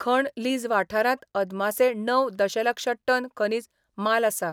खण लीज वाठारात अदमासे णव दशलक्ष टन खनिज माल आसा.